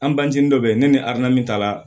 An bangeni dɔ bɛ yen ne ni adamu tala